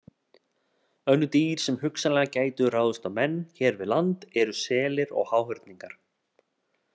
Önnur dýr sem hugsanlega gætu ráðist á menn hér við land eru selir og háhyrningar.